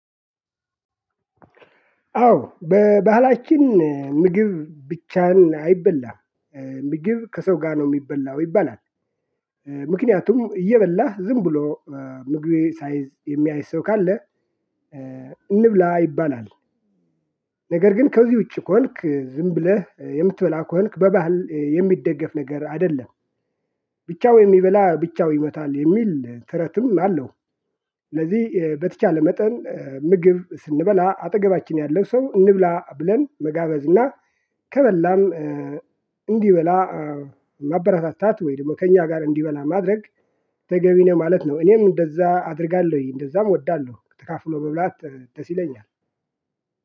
አዎ በባህላችን ምግብ ብቻህን አይበላም። ምግብ ከሰው ጋር ነው የሚበላው ይባላል። ምክንያቱም እየበላህ ዝም ብሎ ምግብ ሳይዝ የሚያይ ሰው ካለ እንብላ ይባላል። ነገር ግን ከዚህ ውጪ ከሆንክ ዝም ብለህ የምትበላ ከሆንክ በባህል የሚደገፍ ነገር አይደለም ብቻው የሚበላ ብቻው ይሞታል የሚል ትረትም አለው። ስለዚህ በተቻለ መጠን ምግብ ስንበላ አጠገባችን ያለው ሰው እንብላ ብለን መጋበዝ እና ከበላም እንዲበላ ማበራታታት ወይም ደግሞ ከእኛ ጋር እንዲበላ ማድረግ ተገቢ ነው ማለት ነው። እኔም እንደዛ አደርጋለሁኝ። እንደዛም እወዳለሁ። ተካፍሎ መብላት ደስ ይለኛል።